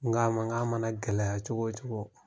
N nka a ma n ka mana gɛlɛy'a ma cogo o cogo